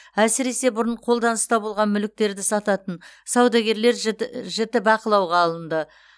әсіресе бұрын қолданыста болған мүліктерді сататын саудагерлер жіті жіті бақылауға алынды